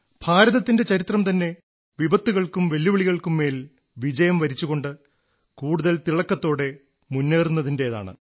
ഭാരതത്തിന്റെ ചരിത്രം തന്നെ വിപത്തുകൾക്കും വെല്ലുവിളികൾക്കും മേൽ വിജയം വരിച്ചുകൊണ്ട് കൂടുതൽ തിളക്കത്തോടെ മുന്നേറുന്നതിന്റേതാണ്